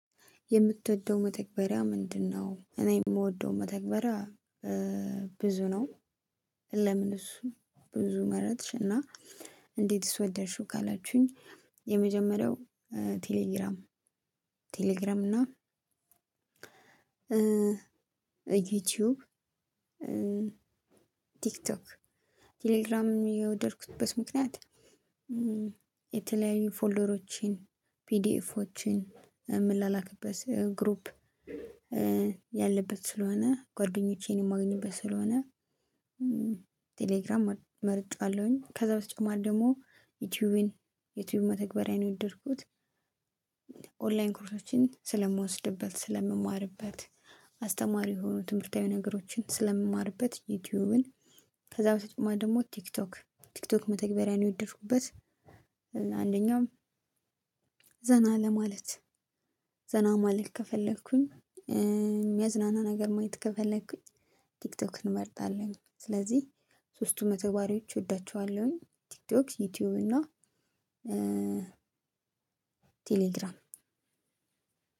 የምትወደው መተግበሪያ ምንድነው? እኔ የምወደው መተግበሪያ ብዙ ነው። ለምን እሱ ብዙ መረጥሽ እና እንዴት ስወደድሽው ካላችሁኝ። የመጀመሪያው ቴሌግራም ቴሌግራም እና ዩቲዩብ ቲክቶክ ቴሌግራምም የወደድኩበት ምክንያት። የተለያዩ ፎልደሮችን ፒዲአፎችን የምላላክበት ግሩፕ ያለበት ስለሆነ ጓደኞቸን የማገኝበት ስለሆነ። ቴሌግራም መርጨዋለሁኝ። ከዛ በተጨማሪ ደግሞ ዩቲዩብን ዩቲዩብ መተግበሪያ ነው የወደድኩት። ኦንላይን ኮርሶችን ስለምወስድበት ስለምማርበት አስተማሪ የሆኑ ትምህርታዊ ነገሮችን ስለምማርበት ዩቲዩብን። ከዛ በተጨማሪ ደግሞ ቲክቶክ ቲክቶክ መተግበሪያን የወደድኩበት። አንደኛው ዘና ለማለት ዘና ማለት ከፈለኩኝ የሚያዝናና ነገር ማየት ከፈለኩኝ ቲክቶክን እንመርጣለሁኝ። ስለዚህ ሶስቱ መተግባሪዎች እወዳችኋለሁኝ። ቲክቶክ ዩቲዩብ እና ቴሌግራም።